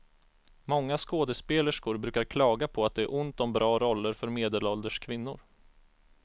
Många skådespelerskor brukar klaga på att det är ont om bra roller för medelålders kvinnor.